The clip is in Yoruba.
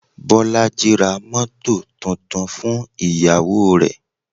Bolaji ra mọ́tọ̀ tuntun fún ìyàwó rè.